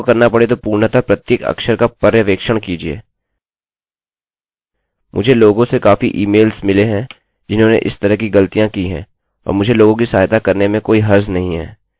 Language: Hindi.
मुझे लोगों से काफी ईमेल्स मिले हैं जिन्होंने इस तरह की ग़लतियाँ की हैं और मुझे लोगों की सहायता करने में कोई हर्ज़ नहीं है